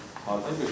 Hardan götürmüşdünüz?